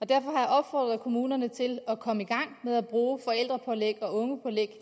derfor har jeg opfordret kommunerne til at komme i gang med at bruge forældrepålæg og ungepålæg